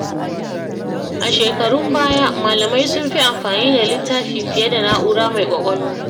A shekarun baya, malamai sun fi amfani da littafi fiye da na’ura mai ƙwaƙwalwa.